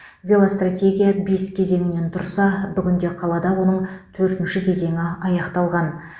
велостратегия бес кезеңнен тұрса бүгінде қалада оның төртінші кезеңі аяқталған